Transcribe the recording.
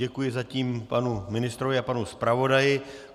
Děkuji zatím panu ministrovi i panu zpravodaji.